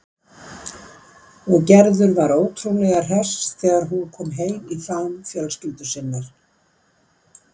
Og Gerður var ótrúlega hress þegar hún kom heim í faðm fjölskyldu sinnar.